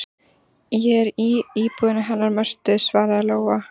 Ég er í íbúðinni hennar Mörtu, svaraði Lóa.